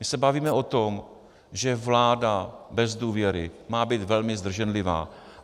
My se bavíme o tom, že vláda bez důvěry má být velmi zdrženlivá.